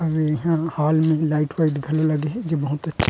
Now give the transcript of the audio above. अउ इहा हॉल में लाइट वाइट घलो लगे हे जो बहुत अच्छे--